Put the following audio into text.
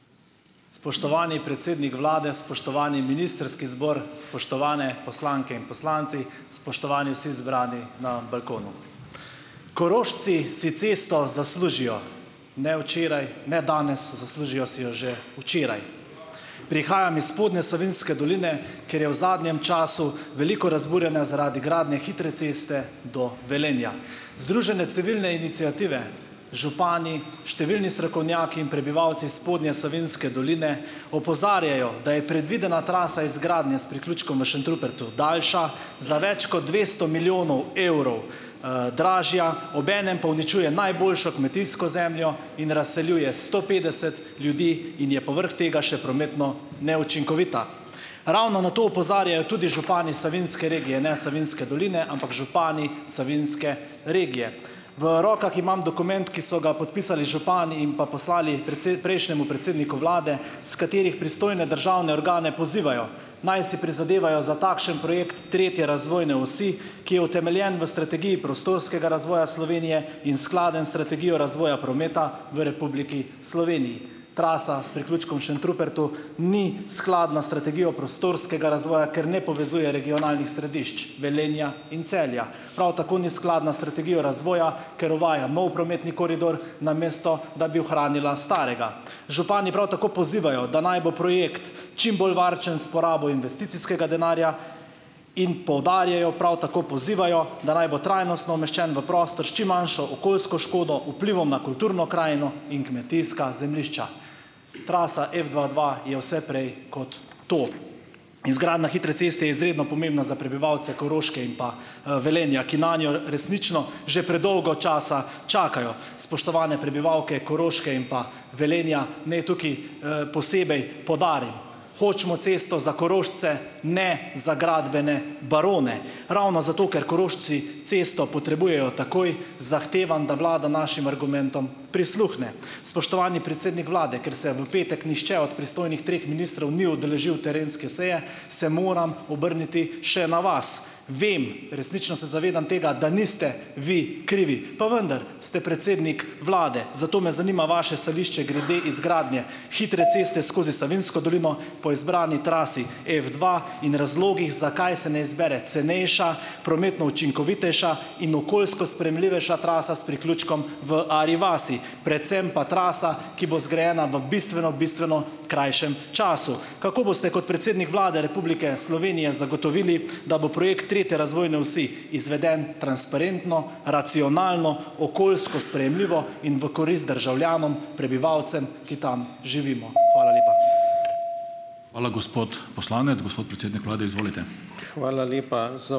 Spoštovani predsednik vlade, spoštovani ministrski zbor, spoštovane poslanke in poslanci! Spoštovani vsi zbrani na balkonu! Korošci si cesto zaslužijo. Ne včeraj, ne danes, zaslužijo si jo že včeraj. Prihajam iz spodnje Savinjske doline, kjer je v zadnjem času veliko razburjenja zaradi gradnje hitre ceste do Velenja. Združene civilne iniciative, župani, številni strokovnjaki in prebivalci spodnje Savinjske doline opozarjajo, da je predvidena trasa izgradnje s priključkom v Šentrupertu daljša, za več kot dvesto milijonov evrov, dražja, obenem pa uničuje najboljšo kmetijsko zemljo in razseljuje sto petdeset ljudi in je povrhu tega še prometno neučinkovita. Ravno na to opozarjajo tudi župani savinjske regije, ne Savinjske doline, ampak župani savinjske regije. V rokah imam dokument, ki so ga podpisali župani in pa poslali prejšnjemu predsedniku vlade, s katerim pristojne državne organe pozivajo, naj si prizadevajo za takšen projekt tretje razvojne osi, ki je utemeljen v strategiji prostorskega razvoja Slovenije in skladen s strategijo razvoja prometa v Republiki Sloveniji. Trasa s priključkom v Šentrupertu ni skladna s strategijo prostorskega razvoja, ker ne povezuje regionalnih središč Velenja in Celja, prav tako ni skladna s strategijo razvoja, ker uvaja nov prometni koridor, namesto da bi ohranila starega. Župani prav tako pozivajo, da naj bo projekt čim bolj varčen s porabo investicijskega denarja, in poudarjajo, prav tako pozivajo, da naj bo trajnostno umeščen v prostor s čim manjšo okoljsko škodo, vplivom na kulturno krajino in kmetijska zemljišča. Trasa F dva dva je vse prej kot to. Izgradnja hitre ceste je izredno pomembna za prebivalce Koroške in pa, Velenja, ki nanjo resnično že predolgo časa čakajo. Spoštovane prebivalke Koroške in pa Velenja, naj tukaj, posebej poudarim, hočemo cesto za Korošce, ne za gradbene barone. Ravno zato, ker Korošci cesto potrebujejo takoj, zahtevam, da vlada našim argumentom prisluhne. Spoštovani predsednik vlade, ker se v petek nihče od pristojnih treh ministrov ni udeležil terenske seje, se moram obrniti še na vas. Vem, resnično se zavedam tega, da niste vi krivi, pa vendar ste predsednik vlade, zato me zanima vaše stališče grede izgradnje hitre ceste skozi Savinjsko dolino po izbrani trasi F dva in razlogih, zakaj se ne izbere cenejša, prometno učinkovitejša in okoljsko sprejemljivejša trasa s priključkom v Arji vasi, predvsem pa trasa, ki bo zgrajena v bistveno, bistveno krajšem času. Kako boste kot predsednik Vlade Republike Slovenije zagotovili, da bo projekt tretje razvojne osi izveden transparentno, racionalno, okoljsko sprejemljivo in v korist državljanom, prebivalcem, ki tam živimo? Hvala lepa. Hvala, gospod poslanec, gospod predsednik vlade, izvolite. Hvala lepa ...